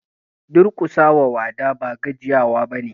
Duƙusa wa wada ba gajiya wa ba ne.